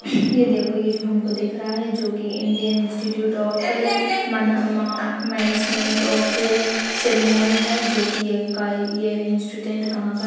ये देखो ये जो हमको दिख रहा है जो की Indian Institute of Management Sirmaur है जो की ये यहीं का ये इंस्टिट्यूट कहाँ का --